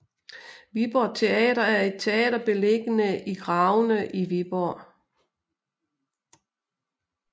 Viborg Teater er et teater beliggende i Gravene i Viborg